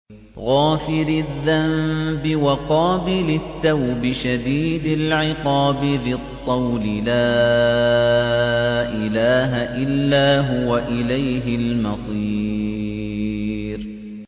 غَافِرِ الذَّنبِ وَقَابِلِ التَّوْبِ شَدِيدِ الْعِقَابِ ذِي الطَّوْلِ ۖ لَا إِلَٰهَ إِلَّا هُوَ ۖ إِلَيْهِ الْمَصِيرُ